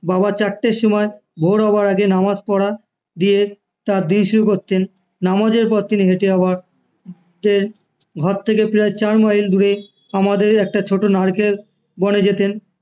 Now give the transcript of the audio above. বাবা চারটের সময় ভোর হওয়ার আগে নামাজ পড়া দিয়ে তার দিন শুরু করতেন নামাজের পর তিনি যেতেন আবার হেটে ঘর থেকে ফেরার চার মাইল দূরে আমাদের একটা ছোট নারকেল বনে যেতেন